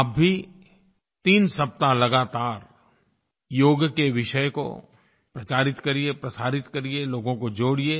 आप भी तीन सप्ताह लगातार योग के विषय को प्रचारित करिए प्रसारित करिए लोगों को जोड़िए